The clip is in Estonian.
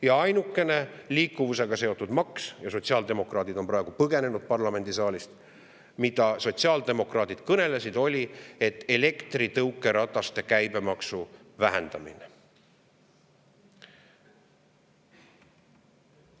Ja ainukene liikuvusega seotud maks – sotsiaaldemokraadid on praegu põgenenud parlamendisaalist –, millest sotsiaaldemokraadid kõnelesid, oli elektritõukerataste käibemaks, vähendada.